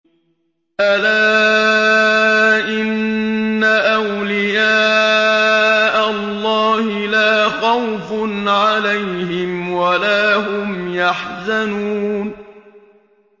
أَلَا إِنَّ أَوْلِيَاءَ اللَّهِ لَا خَوْفٌ عَلَيْهِمْ وَلَا هُمْ يَحْزَنُونَ